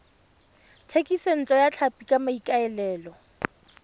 thekisontle ya tlhapi ka maikaelelo